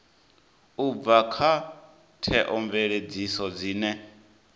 u bva kha theomveledziso dzine